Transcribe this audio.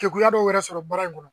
kegunya dɔwɛrɛ sɔrɔ baara in kɔnɔ